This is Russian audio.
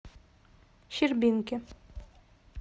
щербинки